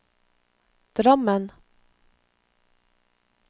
Drammen